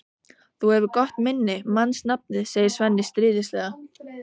Þú hefur gott minni, manst nafnið, segir Svenni stríðnislega.